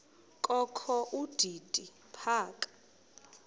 kokho udidi phaka